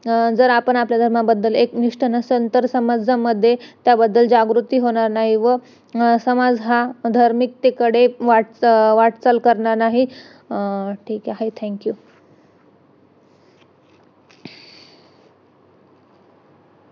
ग्रुध रशी हा वि विकार शांत होतो. मालिश मुळे मिळणारे फायदे , मालिश मुळे होणारे फायदे पुढील प्रमाणे आहेत. मालिश मुळे केसांचे आरोग्य उत्तम राहते. अ केस काळे दाट बळकट व सुंदर होतात .